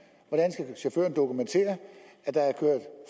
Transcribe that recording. at at dokumentere at der er